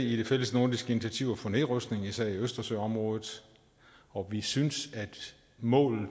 de fællesnordiske initiativer for nedrustning især i østersøområdet og vi synes at målet